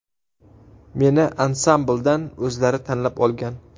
Meni ansambldan o‘zlari tanlab olgan.